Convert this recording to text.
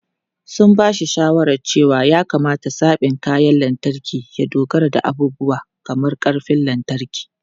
Sun ba shi shawarar cewa ya kamata zaɓin kayan lantarki ya dogara da abubuwa kamar ƙarfin lantarki.